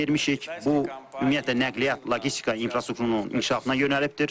Bu ümumiyyətlə nəqliyyat, logistika infrastrukturunun inkişafına yönəlibdir.